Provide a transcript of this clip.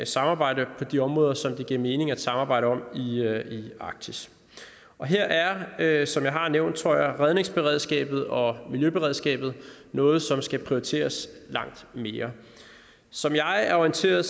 samarbejde på de områder som det giver mening at samarbejde om i arktis her er som jeg har nævnt redningsberedskabet og miljøberedskabet noget som skal prioriteres langt mere som jeg er orienteret